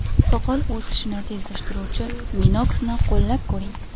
Soqol o‘sishini tezlashtiruvchi Minox ’ ni qo‘llab ko‘ring !